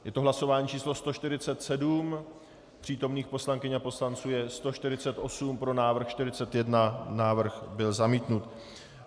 Je to hlasování číslo 147, přítomných poslankyň a poslanců je 148, pro návrh 41, návrh byl zamítnut.